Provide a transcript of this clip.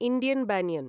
Indian banyan